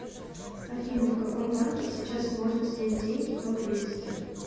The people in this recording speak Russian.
афина в каком банке сейчас можно снять деньги поблизости